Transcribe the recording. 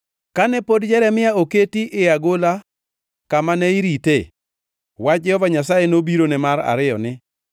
Kane pod Jeremia oketi e agola kamane irite, wach Jehova Nyasaye nobirone mar ariyo ni: